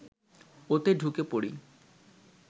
ওতে ঢুকে পড়ি